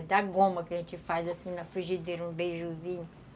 É da goma que a gente faz assim na frigideira, um beijuzinho.